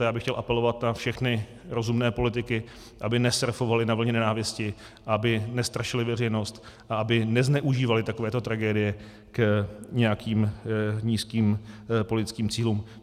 A já bych chtěl apelovat na všechny rozumné politiky, aby nesurfovali na vlně nenávisti, aby nestrašili veřejnost a aby nezneužívali takovéto tragédie k nějakým nízkým politickým cílům.